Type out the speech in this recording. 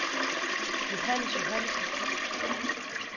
Johannes Johannesen